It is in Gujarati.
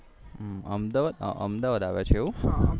હમ અહમદાવાદ આવ્યા છે એવું